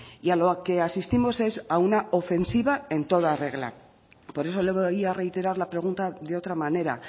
y a lo que asistimos es a una ofensiva en toda regla por eso le voy a reiterar la pregunta de otra manera